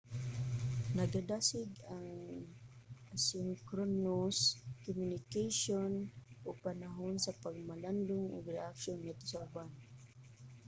nagadasig ang asynchronous communication og panahon sa pagpamalandong ug reaksyon ngadto sa uban